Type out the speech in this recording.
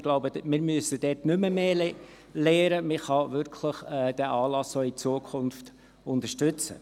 Ich glaube, wir müssen dort nicht mehr lernen, man kann diesen Anlass wirklich auch in Zukunft unterstützen.